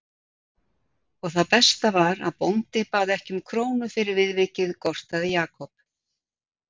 Og það besta var að bóndi bað ekki um krónu fyrir viðvikið gortaði Jakob.